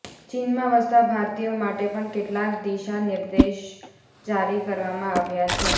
ચીનમાં વસતા ભારતીયો માટે પણ કેટલાક દિશા નિર્દેશ જારી કરવામાં આવ્યા છે